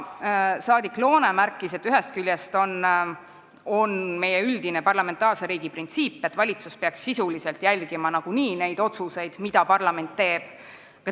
Saadik Loone märkis, et ühest küljest on meie parlamentaarse riigi üldine printsiip see, et valitsus peaks sisuliselt nagunii järgima neid otsuseid, mida parlament teeb.